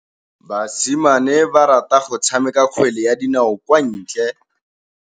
Basimane ba rata go tshameka kgwele ya dinaô kwa ntle.